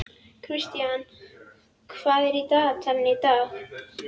Kristian, hvað er í dagatalinu í dag?